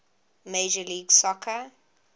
major league soccer